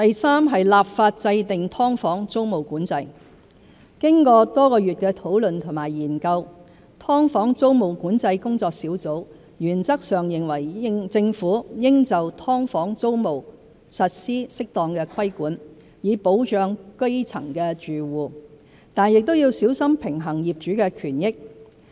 三立法制訂"劏房"租務管制經過多月來的討論和研究，"劏房"租務管制研究工作小組原則上認為政府應就"劏房"租務實施適當規管，以保障基層住戶，但亦要小心平衡業主的權益。